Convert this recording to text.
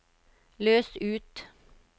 løs ut